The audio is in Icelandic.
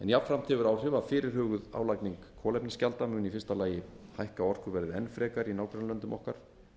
jafnframt hefur áhrif að fyrirhuguð álagning kolefnisgjalda mun í fyrsta lagi hækka orkuverðið enn frekar í nágrannalöndum okkar